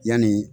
Yanni